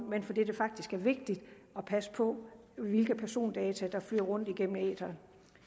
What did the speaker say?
men fordi det faktisk er vigtigt at passe på hvilke persondata der flyder rundt i æteren